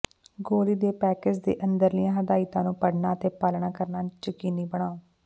ਗੋਲੀ ਦੇ ਪੈਕੇਜ਼ ਦੇ ਅੰਦਰਲੀਆਂ ਹਦਾਇਤਾਂ ਨੂੰ ਪੜਨਾ ਅਤੇ ਪਾਲਣਾ ਕਰਨਾ ਯਕੀਨੀ ਬਣਾਓ